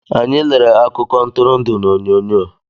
Anyị lere akụko Ntụrụndụ na oyonyo